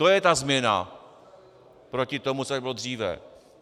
To je ta změna proti tomu, co tady bylo dříve.